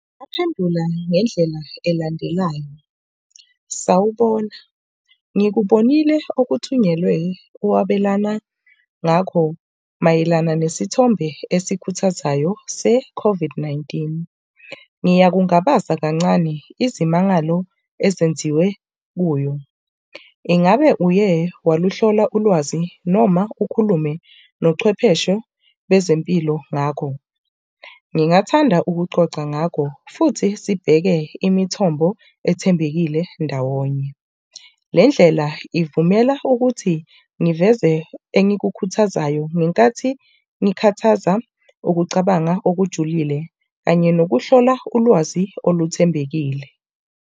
Ngingamphendula ngendlela elandelayo. Sawubona, ngikubonile okuthunyelwe owabelana ngakho mayelana nesithombe esikuthathayo se-COVID-19. Ngiyakungabaza kancane, izimangalo ezenziwe kuyo. Ingabe uye waluhlola ulwazi noma ukhulume nochwepheshe bezempilo ngakho? Ngingathanda ukucoca ngakho futhi sibheke imithombo ethembekile ndawonye. Le ndlela ivumela ukuthi ngiveze engikukhuthazayo ngenkathi ngikhathaza ukucabanga okujulile kanye nokuhlola ulwazi oluthembekile.